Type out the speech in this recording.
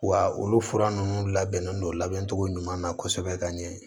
Wa olu fura ninnu labɛn don labɛncogo ɲuman na kosɛbɛ ka ɲɛ